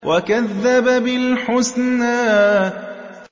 وَكَذَّبَ بِالْحُسْنَىٰ